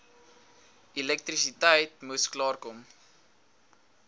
elektrisiteit moes klaarkom